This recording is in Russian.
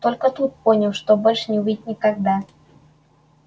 только тут понял что больше не увидит никогда